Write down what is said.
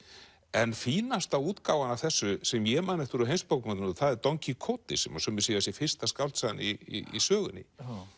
en fínasta útgáfan af þessu sem ég man eftir úr heimsbókmenntunum er don Kíkóti sem að sumir segja að sé fyrsta skáldsagan í sögunni